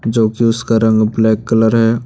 जोकि उसका रंग ब्लैक कलर है।